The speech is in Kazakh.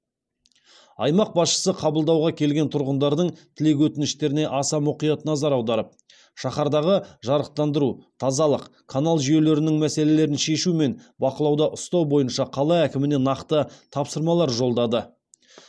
аймақ басшысы қабылдауға келген тұрғындардың тілек өтініштеріне аса мұқият назар аударып шаһардағы жарықтандыру тазалық канал жүйелерінің мәселелерін шешу мен бақылауда ұстау бойынша қала әкіміне нақты тапсырмалар жолдады